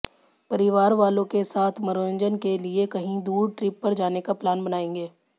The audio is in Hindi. परिवार वालों के साथ मनोरंजन के लिए कहीं दूर ट्रिप पर जाने का प्लान बनायेंगे